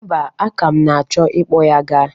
Mba, aka m na-achọ ịkpọ ya ga.